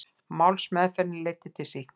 Málsmeðferðin leiddi til sýknu